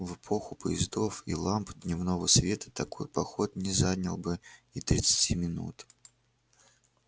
в эпоху поездов и ламп дневного света такой поход не занял бы и тридцати минут